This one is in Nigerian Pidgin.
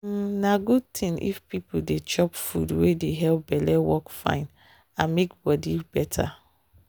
um na good thing if people dey chop food wey dey help belle work fine and make body better.